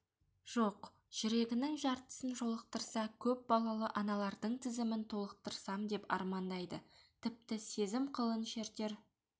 жоқ жүрегінің жартысын жолықтырса көп балалы аналардың тізімін толықтырсам деп армандайды тіпті сезім қылын шертер